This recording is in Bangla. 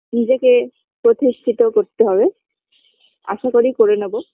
নিজেকে প্রতিষ্ঠিত করতে হবে আশা করি করে নেব